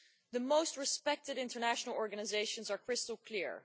The most respected international organisations are crystal clear.